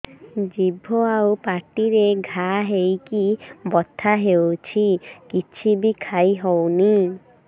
ଜିଭ ଆଉ ପାଟିରେ ଘା ହେଇକି ବଥା ହେଉଛି କିଛି ବି ଖାଇହଉନି